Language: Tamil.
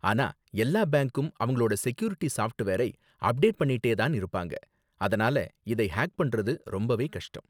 ஆனா, எல்லா பேங்க்கும் அவங்களோட செக்யூரிட்டி சாஃப்ட்வேரை அப்டேட் பண்ணிட்டே தான் இருப்பாங்க, அதனால இதை ஹேக் பண்றது ரொம்பவே கஷ்டம்.